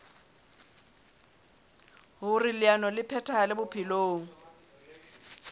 hoer leano le phethahale bophelong